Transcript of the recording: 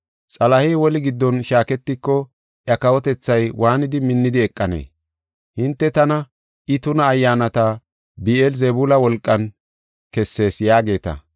Xalahey woli giddon shaaketiko iya kawotethay waanidi minnidi eqanee? Hinte tana, ‘I tuna ayyaanata Bi7eel-Zebuula wolqan kessees’ yaageeta.